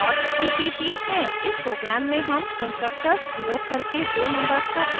इस program में हम constructors प्रयोग करके दो numbers का एडिशन प्रदर्शित करेंगे